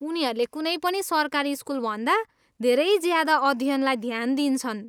उनीहरूले कुनै पनि सरकारी स्कुलभन्दा धेरै ज्यादा अध्ययनलाई ध्यान दिन्छन्।